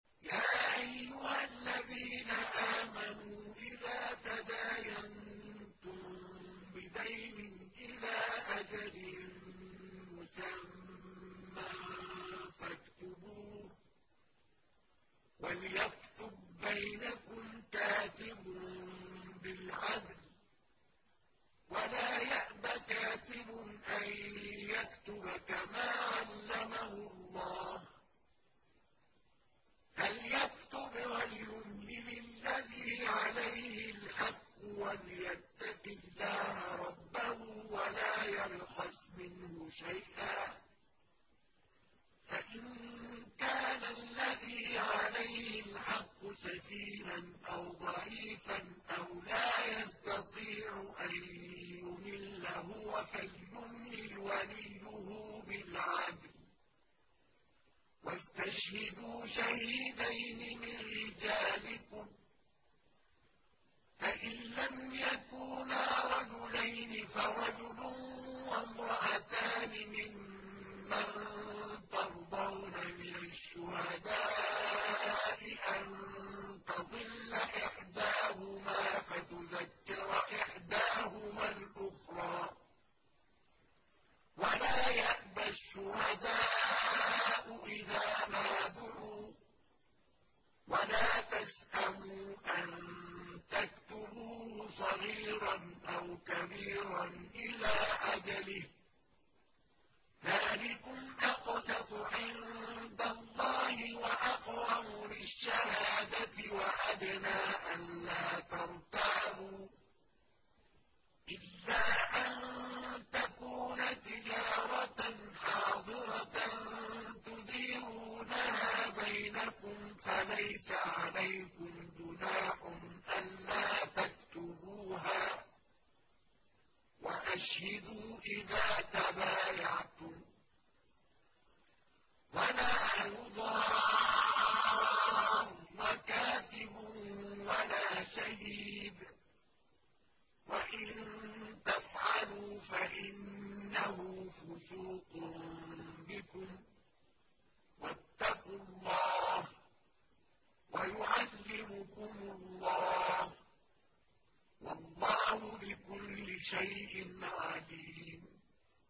يَا أَيُّهَا الَّذِينَ آمَنُوا إِذَا تَدَايَنتُم بِدَيْنٍ إِلَىٰ أَجَلٍ مُّسَمًّى فَاكْتُبُوهُ ۚ وَلْيَكْتُب بَّيْنَكُمْ كَاتِبٌ بِالْعَدْلِ ۚ وَلَا يَأْبَ كَاتِبٌ أَن يَكْتُبَ كَمَا عَلَّمَهُ اللَّهُ ۚ فَلْيَكْتُبْ وَلْيُمْلِلِ الَّذِي عَلَيْهِ الْحَقُّ وَلْيَتَّقِ اللَّهَ رَبَّهُ وَلَا يَبْخَسْ مِنْهُ شَيْئًا ۚ فَإِن كَانَ الَّذِي عَلَيْهِ الْحَقُّ سَفِيهًا أَوْ ضَعِيفًا أَوْ لَا يَسْتَطِيعُ أَن يُمِلَّ هُوَ فَلْيُمْلِلْ وَلِيُّهُ بِالْعَدْلِ ۚ وَاسْتَشْهِدُوا شَهِيدَيْنِ مِن رِّجَالِكُمْ ۖ فَإِن لَّمْ يَكُونَا رَجُلَيْنِ فَرَجُلٌ وَامْرَأَتَانِ مِمَّن تَرْضَوْنَ مِنَ الشُّهَدَاءِ أَن تَضِلَّ إِحْدَاهُمَا فَتُذَكِّرَ إِحْدَاهُمَا الْأُخْرَىٰ ۚ وَلَا يَأْبَ الشُّهَدَاءُ إِذَا مَا دُعُوا ۚ وَلَا تَسْأَمُوا أَن تَكْتُبُوهُ صَغِيرًا أَوْ كَبِيرًا إِلَىٰ أَجَلِهِ ۚ ذَٰلِكُمْ أَقْسَطُ عِندَ اللَّهِ وَأَقْوَمُ لِلشَّهَادَةِ وَأَدْنَىٰ أَلَّا تَرْتَابُوا ۖ إِلَّا أَن تَكُونَ تِجَارَةً حَاضِرَةً تُدِيرُونَهَا بَيْنَكُمْ فَلَيْسَ عَلَيْكُمْ جُنَاحٌ أَلَّا تَكْتُبُوهَا ۗ وَأَشْهِدُوا إِذَا تَبَايَعْتُمْ ۚ وَلَا يُضَارَّ كَاتِبٌ وَلَا شَهِيدٌ ۚ وَإِن تَفْعَلُوا فَإِنَّهُ فُسُوقٌ بِكُمْ ۗ وَاتَّقُوا اللَّهَ ۖ وَيُعَلِّمُكُمُ اللَّهُ ۗ وَاللَّهُ بِكُلِّ شَيْءٍ عَلِيمٌ